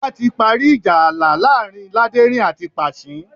Ọba ti parí ìjà ààlà láàrin Láderin àti Pàṣín